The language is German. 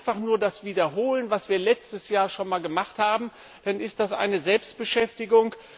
Wenn wir einfach nur das wiederholen, was wir letztes Jahr schon einmal gemacht haben, dann ist das eine Selbstbeschäftigung.